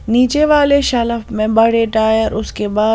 नीचे वाले शाल ऑफ मेंबर रिटायर उसके बाद--